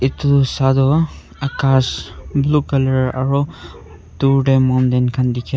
itu saitu akas blue colour aru dur teh mountain khan dikhai.